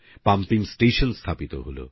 pumping station স্থাপিত হল